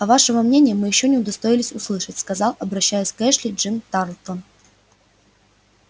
а вашего мнения мы ещё не удостоились услышать сказал обращаясь к эшли джим тарлтон